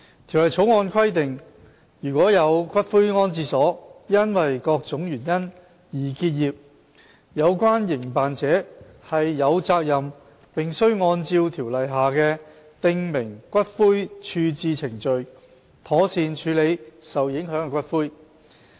《條例草案》規定，如有骨灰安置所因各種原因而結業，有關營辦者有責任並須按照條例下的訂明骨灰處置程序，妥善處理受影響的骨灰。